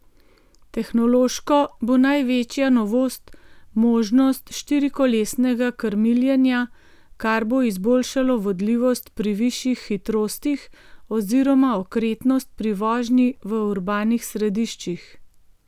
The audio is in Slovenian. Tehnološko bo največja novost možnost štirikolesnega krmiljenja, kar bo izboljšalo vodljivost pri višjih hitrostih oziroma okretnost pri vožnji v urbanih središčih.